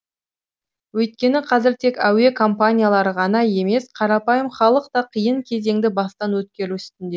өйткені қазір тек әуе компаниялары ғана емес қарапайым халық та қиын кезеңді бастан өткеру үстінде